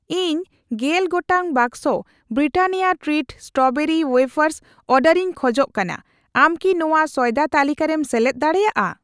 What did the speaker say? ᱤᱧ ᱜᱮᱞ ᱜᱚᱴᱟᱝ ᱵᱟᱠᱥᱚ ᱵᱨᱤᱴᱟᱱᱤᱭᱟ ᱴᱨᱤᱴ ᱥᱴᱨᱚᱵᱮᱨᱤ ᱣᱭᱮᱯᱷᱟᱨᱥ ᱚᱰᱟᱨᱤᱧ ᱠᱷᱟᱡ ᱠᱟᱱᱟ, ᱟᱢ ᱠᱤ ᱱᱚᱣᱟ ᱥᱚᱭᱫᱟ ᱛᱟᱹᱞᱤᱠᱟ ᱨᱮᱢ ᱥᱮᱞᱮᱫ ᱫᱟᱲᱮᱭᱟᱜᱼᱟ ?